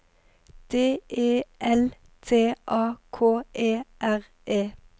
D E L T A K E R E